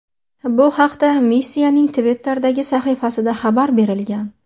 Bu haqda missiyaning Twitter’dagi sahifasida xabar berilgan .